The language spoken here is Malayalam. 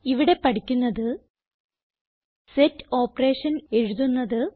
ഇവിടെ പഠിക്കുന്നത് സെറ്റ് ഓപ്പറേഷൻ എഴുതുന്നത്